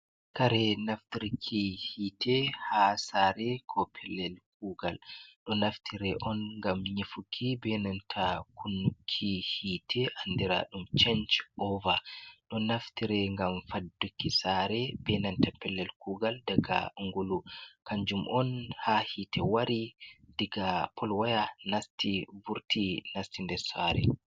Kare naftirki hite ha sare, ko pellel kugal don naftire on ngam nyifuki, benanta kunnuki hite andiradum chench over. Ɗon naftire ngam fadduki sare benanta pellel kugal daga ngulu kanjum on ha hite wari daga polwaya nasti vurti nasti nde sare.